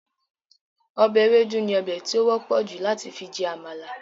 Ọbẹ̀ ewédú ni ọbè ti ó wọ́pọ̀ jù láti fi jẹ àmàlà